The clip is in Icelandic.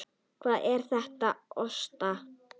Hvað er að óttast?